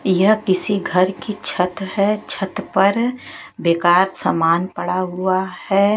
यह किसी घर की छत है छत पर बेकार समान पड़ा हुआ है।